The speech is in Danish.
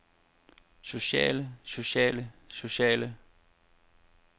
sociale sociale sociale